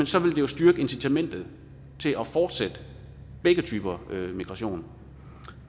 så vil det jo styrke incitamentet til at fortsætte begge typer migration